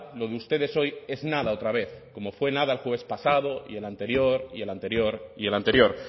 lo de ustedes hoy es nada otra vez como fue nada el jueves pasado y el anterior y el anterior y el anterior